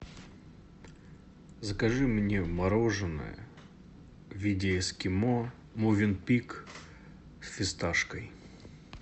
закажи мне мороженное в виде эскимо мовенпик с фисташкой